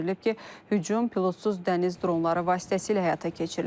Bildirilib ki, hücum pilotsuz dəniz dronları vasitəsilə həyata keçirilib.